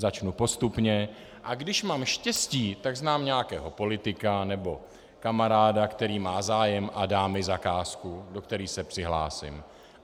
Začnu postupně, a když mám štěstí, tak znám nějakého politika nebo kamaráda, který má zájem a dá mi zakázku, do které se přihlásím.